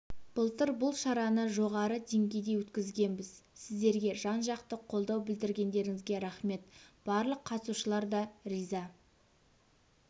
былтыр бұл шараны жоғары деңгейде өткізгенбіз сіздерге жан-жақты қолдау білдіргендеріңізге рахмет барлық қатысушылар да риза